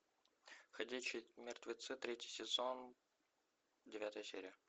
ходячие мертвецы третий сезон девятая серия